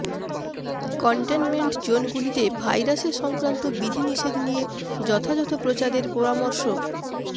containment zone গুলিতে ভাইরাসের সংক্রান্ত বিধিনিষেধ নিয়ে যথাযথ প্রচারের পরামর্শ